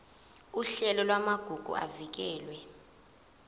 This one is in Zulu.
uhlelo lwamagugu avikelwe